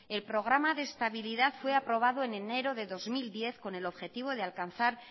el programa de estabilidad fue aprobado en enero del dos mil diez con el objetivo de alcanzar